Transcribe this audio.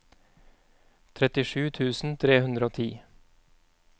trettisju tusen tre hundre og ti